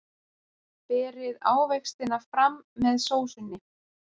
Berið ávextina fram með sósunni.